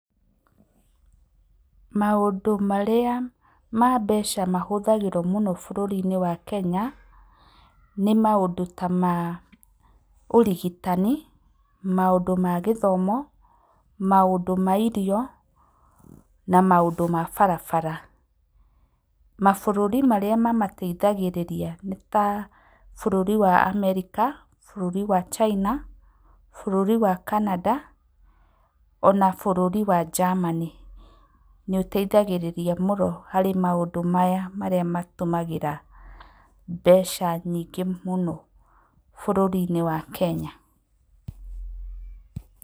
Maũndũ marĩa mbeca mahũthagĩrwo mũno bũrũri wa Kenya, nĩ maũndũ ta maũrigitani, maũndũ ma gĩthomo, maũndũ mairio, na maũndũ mabarabara. Mabũrũri marĩa mamateithagĩrĩria nĩ ta bũrũri wa Amerika, bũrũri wa China, bũrũri wa Canada, ona bũrũri wa Germany, nĩ ũteithagĩrĩria mũno harĩ maũndũ maya marĩa matumagĩra mbeca nyingĩ mũno bũrũri-inĩ wa Kenya.